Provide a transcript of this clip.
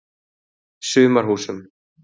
Sumarhúsum